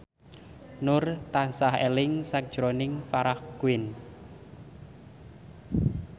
Nur tansah eling sakjroning Farah Quinn